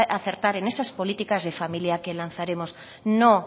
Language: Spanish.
acertar en esas políticas de familias que lanzaremos no